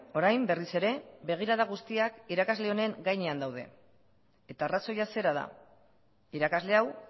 orain berriz ere begirada guztiak irakasle honen gainean daude eta arrazoia zera da irakasle hau